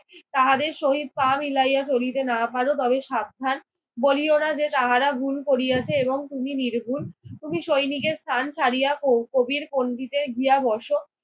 তাহাদের সহিত পা মিলাইয়া চলিতে না পারো তবে সাবধান। বলিও না যে তাহারা ভুল করিয়াছে এবং তুমি নির্ভুল। তুমি সৈনিকের স্থান ছাড়িয়া ক কবির পঙ্তিতে গিয়া বসো